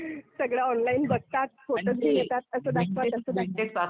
सगळं ऑनलाईन बघतात, फोटो घेऊन येतात, असं दाखवा, तसं दाखवा.